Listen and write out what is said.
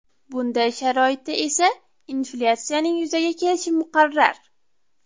Bunday sharoitda esa inflyatsiyaning yuzaga kelishi muqarrar.